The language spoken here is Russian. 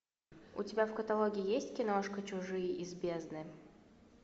у тебя в каталоге есть киношка чужие из бездны